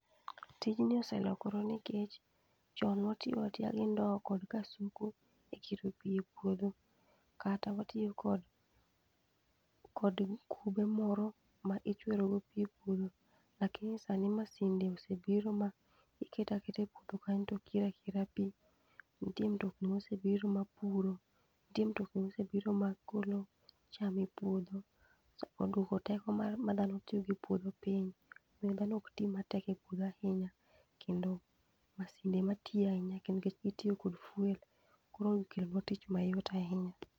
Tijni oselokoro nikech chon nwa tiyo atiyo gi ndo kod kasuku e kiro pi e puodho kata watiyo kod kod gi kube moro ma ichwero go pi e puodho. Lakini sani masinde osebiro ma iketo aketa e puodho kanyo to kira kira pi, nitie mtokni mosebiro ma puro, nitie mtokni mosebiro ma golo cham e puodho sa oduoko teko ma dhano tiyogodo e puodho piny, omiyo dhano ok ti matek e puodho ahinya kendo mashinde ema tiyo ahinya nikech gitiyo kod fuel koro kelo tich mayot ahinya.